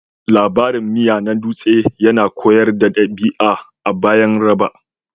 Labarin miya na dutse yana koyar da ɗabi'a a bayan raba